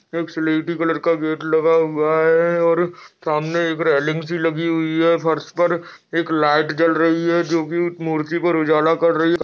एक स्लेटी कलर का गेट लगा हुआ है और समाने एक रेलिंग सी लगी हुई है फर्श पर एक लाइट जल रही है जो कि मूर्ति पर उजाला कर रही।